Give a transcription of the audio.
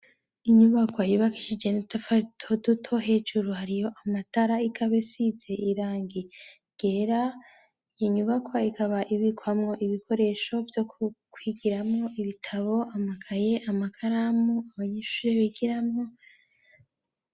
Inyubako yibakishije netafaitoduto hejuru hariyo amatara igabe size irangiye gera yinyubakwa ikaba ibikwamwo ibikoresho vyo kukwigiramwo ibitabo amakaye amakaramu abanyishure bigiramo.